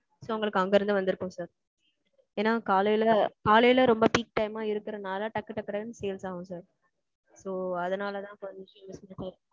உங்களுக்கு அங்க இருந்து வந்திருக்கும் சார். ஏனா காலையில காலையில ரொம்ப peak time மா இருக்குற நால டக் டக்குனு sales ஆகும் sir. so அதனால சொல்லி